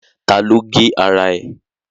Ta ló gé ara ẹ̀?